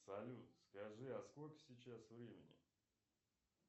салют скажи а сколько сейчас времени